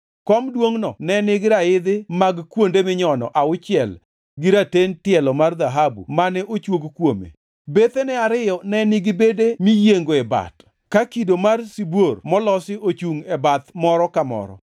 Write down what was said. Kom duongʼno ne nigi raidhi mag kuonde minyono auchiel gi raten tielo mar dhahabu mane ochuog kuome. Bethene ariyo ne nigi bede miyienge bat, ka kido mar sibuor molosi ochungʼ e bath moro ka moro.